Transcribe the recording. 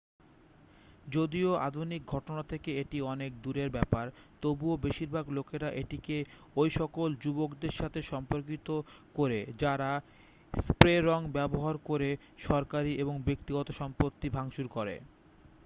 যদিও আধুনিক ঘটনা থেকে এটি অনেক দূরের ব্যাপার তবুও বেশিরভাগ লোকেরা এটিকে ঐসকল যুবকদের সাথে সম্পর্কিত করে যারা স্প্রে রঙ ব্যবহার করে সরকারী এবং ব্যক্তিগত সম্পত্তি ভাঙচুর করে